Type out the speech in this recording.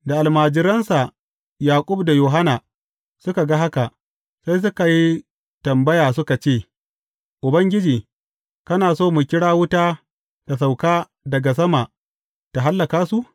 Da almajiransa, Yaƙub da Yohanna suka ga haka, sai suka yi tambaya suka ce, Ubangiji, kana so mu kira wuta ta sauka daga sama ta hallaka su?